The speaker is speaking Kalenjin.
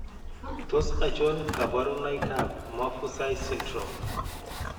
Tos achon kabarunaik ab Maffucci syndrome ?